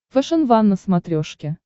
фэшен ван на смотрешке